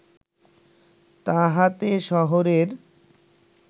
তাহাতে শহরের